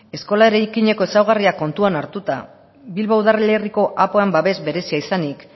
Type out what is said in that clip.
eskola eraikineko ezaugarria kontuan hartuta bilbo udalerriko babes berezia izanik